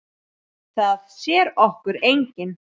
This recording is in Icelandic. Það sér okkur enginn.